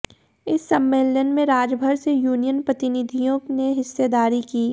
इस सम्मेलन में राज्यभर से यूनियन प्रतिनिधियों ने हिस्सेदारी की